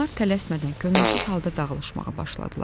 Adamlar tələsmədən könülsüz halda dağılışmağa başladılar.